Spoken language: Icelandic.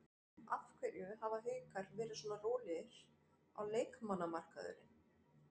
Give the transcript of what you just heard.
Af hverju hafa Haukar verið svona rólegir á leikmannamarkaðinum?